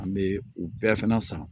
An bɛ u bɛɛ fana san